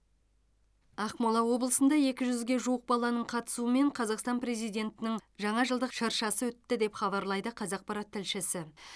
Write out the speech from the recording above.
ақмола облысында екі жүзге жуық баланың қатысуымен қазақстан президентінің жаңа жылдық шыршасы өтті деп хабарлайды қазақпарат тілшісі